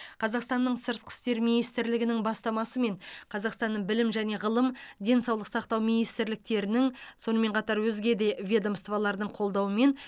қазақстанның сыртқы істер министрлігінің бастамасымен қазақстанның білім және ғылым денсаулық сақтау министрліктерінің сонымен қатар өзге де ведомстволардың қолдауымен